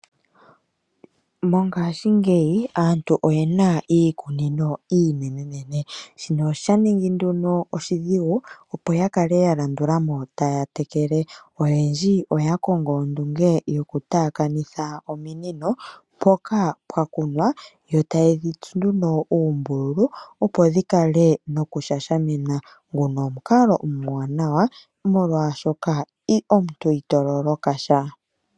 Mongaashingeyi aantu oye na iikunino iinenenene. Shino osha ningi nduno oshidhigu opo ya kale ya landula mo taya tekele. Oyendji oya kongo ondunge yoku taakanitha ominino mpoka pwa kunwa, yo taye dhi tsu nduno uumbululu opo dhi kale no ku shashamina. Nguno omukalo omuwanawa molwaashoka omuntu i to loloka sha.